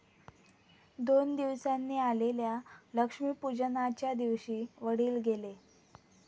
दोन दिवसांनी आलेल्या लक्ष्मीपूजनाच्या दिवशी वडील गेले.